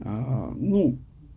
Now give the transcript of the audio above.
а ну